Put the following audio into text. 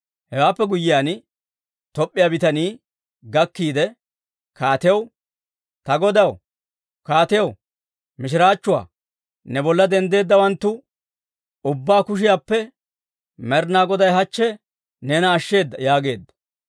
Hewaappe guyyiyaan, Toop'p'iyaa bitanii gakkiide kaatiyaw, «Ta godaw kaatiyaw, mishiraachchuwaa! Ne bolla denddeeddawanttu ubbaa kushiyaappe Med'inaa Goday hachche neena ashsheeda» yaageedda.